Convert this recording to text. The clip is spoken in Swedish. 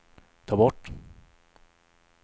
ta bort